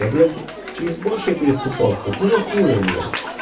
я блять через большее переступал какого хуя блять